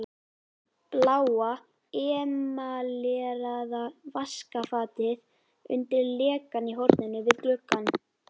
Bláa emaleraða vaskafatið undir lekann í horninu við gluggann.